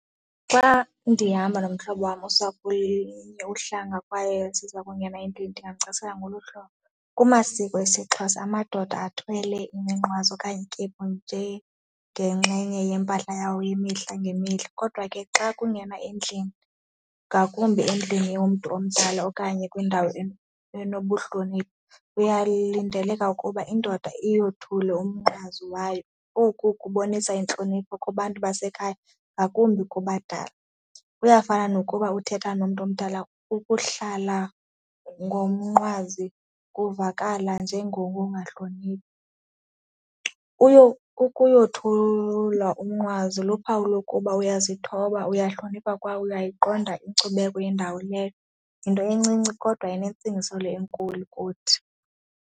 Xa ndihamba nomhlobo wam usapho uhlanga kwaye siza kunye naye ndingamcacisela ngolu hlobo, kumasiko esiXhosa amadoda athwele iminqwazi okanye ikephusi nje ngengxenye yempahla yawo yemihla ngemihla kodwa ke xa kungena endlini, ngakumbi endlini yomntu omdala okanye kwindawo enobuhlonipha kuyalidelela ukuba indoda iyothule umnqwazi wayo, oku kubonisa intlonipho kubantu basekhaya ngakumbi kubadala. Kuyafana nokuba uthetha nomntu omdala, ukuhlala nomnqwazi kuvakala njengokungahloniphi. ukuyothula umnqwazi luphawu lokuba uyazithoba, uyahlonipha kwaye uyayiqonda inkcubeko yendawo. Leyo yinto encinci kodwa inentsingiselo le enkulu kuthi.